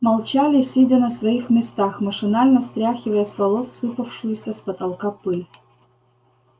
молчали сидя на своих местах машинально стряхивая с волос сыпавшуюся с потолка пыль